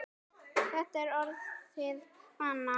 Þetta er orðið að vana.